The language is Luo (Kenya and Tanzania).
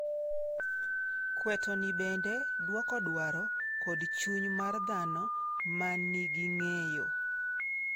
Kweto ni bende dwoko dwaro kod chuny mar dhano ma nigi ng'eyo.